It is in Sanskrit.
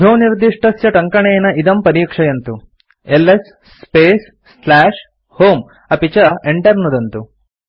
अधोनिर्दिष्टस्य टङ्कनेन इदं परीक्षयन्तु एलएस स्पेस् home अपि च enter नुदन्तु